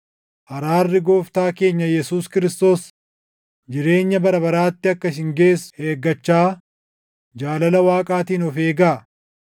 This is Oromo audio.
Araarri Gooftaa keenya Yesuus Kiristoos jireenya bara baraatti akka isin geessu eeggachaa jaalala Waaqaatiin of eegaa.